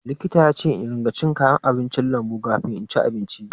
Likita yace in ruƙa cin kayan lambu kafin inci abinci.